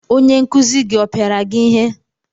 Onye nkuzi gị ọ pịara gị ihe?